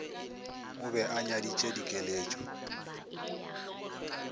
o be a nyaditše dikeletšo